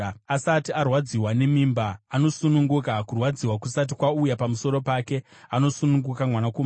“Asati arwadziwa nemimba, anosununguka; kurwadza kusati kwauya pamusoro pake, anosununguka mwanakomana.